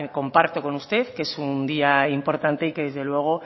comparto con usted que es un día importante y que desde luego